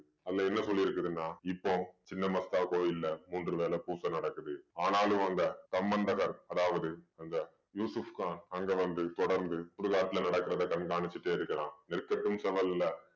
அதுல என்ன சொல்லிருக்குதுன்னா இப்போ சின்ன மஸ்தா கோயில்ல மூன்று வேளை பூச நடக்குது ஆனாலும் அங்க சம்மந்தகர் அதாவது அந்த யூசுப்கான் அங்க வந்து தொடர்ந்து சுடுகாட்ல நடக்கிறதை கண்காணிச்சிட்டே இருக்கிறான் அல்ல